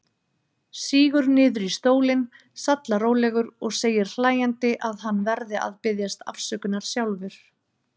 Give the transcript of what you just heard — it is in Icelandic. Sígur niður í stólinn, sallarólegur, og segir hlæjandi að hann verði að biðjast afsökunar sjálfur.